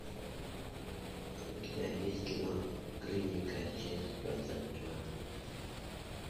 у тебя есть кино клиника часть двадцать два